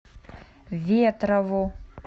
ветрову